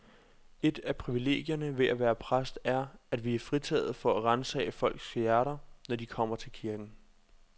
Et af privilegierne ved at være præst er, at vi er fritaget for at ransage folks hjerter, når de kommer til kirken.